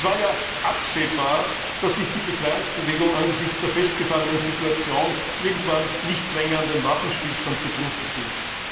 Es war ja absehbar, dass sich die Befreiungsbewegung angesichts der festgefahrenen Situation irgendwann nicht länger an den Waffenstillstand gebunden fühlt.